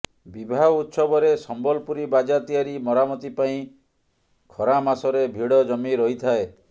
ବିବାହ ଉତ୍ସବରେ ସମ୍ବଲପୁରୀ ବାଜା ତିଆରି ମରାମତି ପାଇଁ ଖରାମାସରେ ଭିଡ଼ ଜମି ରହିଥାଏ